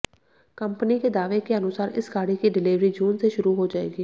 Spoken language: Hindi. कंपनी के दावे के अनुसार इस गाड़ी की डिलेवरी जून से शुरू हो जाएगी